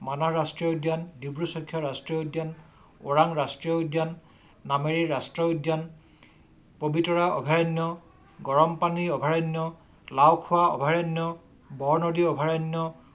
মানাহ ৰাষ্ট্ৰীয় উদ্যান, ডিব্ৰু ছৈখোৱা, ওৰাং ৰাষ্ট্ৰীয় উদ্যান, নামেৰি ৰাষ্ট্ৰীয় উদ্যান। পবিতৰা অভয়াৰণ্য, গৰম পানী অভয়াৰণ্য, লাওখোৱা অভয়াৰণ্য, বৰনদী অভয়াৰণ্য।